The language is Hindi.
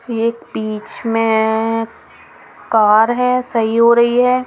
एक बीच में कार है सही हो रही है.